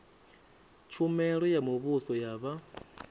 tshumelo ya muvhuso ya vha